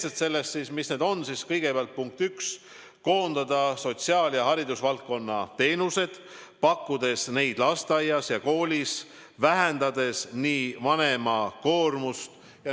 sellest, mis need konkreetselt on, siis kõigepealt punkt üks: koondada sotsiaal- ja haridusvaldkonna teenused, pakkudes neid lasteaias ja koolis, vähendades niiviisi vanema koormust.